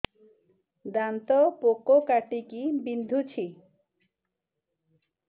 ଦାନ୍ତ ପୋକ କାଟିକି ବିନ୍ଧୁଛି